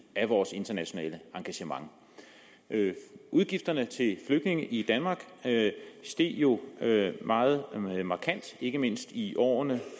af vores internationale engagement udgifterne til flygtninge i danmark steg jo meget markant ikke mindst i årene